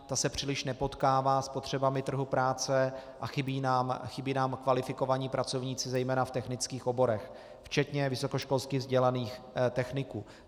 Ta se příliš nepotkává s potřebami trhu práce a chybí nám kvalifikovaní pracovníci zejména v technických oborech, včetně vysokoškolsky vzdělaných techniků.